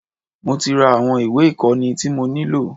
Mo tí ra àwọn ìwé ìkóni tí mo nílò.